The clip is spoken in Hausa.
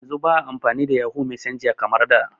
Yanzun ba a amfani da yahoo messenger kamar da